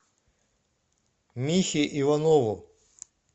михе иванову